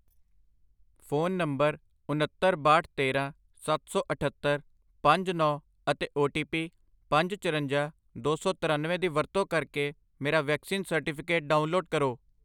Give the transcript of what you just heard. phone number ਉਨੱਤਰ, ਬਾਹਠ, ਤੇਰਾਂ, ਸੱਤ ਸੌ ਅਠੱਤਰ, ਪੰਜ, ਨੌਂ ਅਤੇ ਓ ਟੀ ਪੀ ਪੰਜ, ਚਰੰਜਾ, ਦੋ ਸੌ ਤਰੱਨਵੇਂ ਦੀ ਵਰਤੋਂ ਕਰਕੇ ਮੇਰਾ ਵੈਕਸੀਨ ਸਰਟੀਫਿਕੇਟ ਡਾਊਨਲੋਡ ਕਰੋ